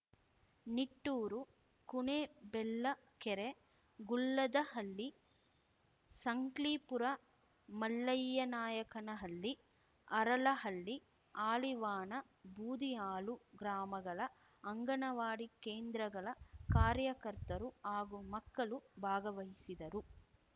ನಿಟ್ಟೂರು ಕುಣೆಬೆಳ್ಳಕೆರೆ ಗುಳ್ಳದಹಳ್ಳಿ ಸಂಕ್ಲೀಪುರ ಮಲ್ಲಯ್ಯನಾಯಕನಹಳ್ಳಿ ಹರಳಹಳ್ಳಿ ಹಾಳಿವಾಣ ಬೂದಿಹಾಳು ಗ್ರಾಮಗಳ ಅಂಗನವಾಡಿ ಕೇಂದ್ರಗಳ ಕಾರ್ಯಕರ್ತರು ಹಾಗೂ ಮಕ್ಕಳು ಭಾಗವಹಿಸಿದರು